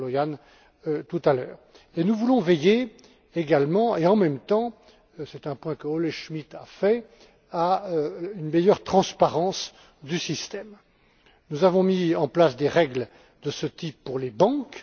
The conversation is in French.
Stolojan, tout à l'heure. Nous voulons veiller, également et en même temps c'est un point soulevé par Olle Schmidt à une meilleure transparence du système. Nous avons mis en place des règles de ce type pour les banques.